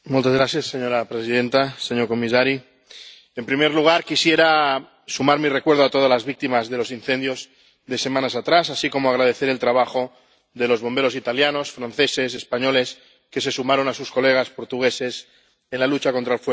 Señora presidenta, señor comisario, en primer lugar, quisiera sumarme al recuerdo de todas las víctimas de los incendios de semanas atrás, así como agradecer el trabajo de los bomberos italianos, franceses y españoles que se sumaron a sus colegas portugueses en la lucha contra el fuego.